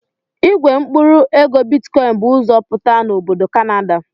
Igwe mkpụrụ ego bitikọin bụ ụzọ pụta na obodo Kanada.